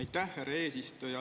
Aitäh, härra eesistuja!